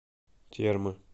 термы